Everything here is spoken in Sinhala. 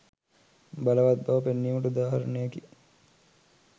බලවත් බව පෙන්වීමට උදාහරණයකි.